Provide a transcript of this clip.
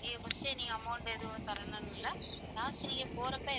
நீங்க first amount எதுவும் தரணும்னு இல்ல. last நீங்க போறப்ப.